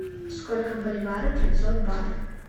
сколько в боливарах пятьсот батов